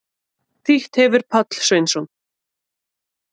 Þýtt hefir Páll Sveinsson.